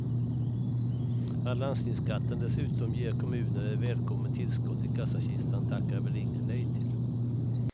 Att landstigningsskatten dessutom ger kommunen ett välkommet tillskott i kassakistan tackar väl ingen nej till.